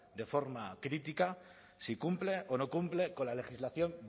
de forma crítica si cumple o no cumple con la legislación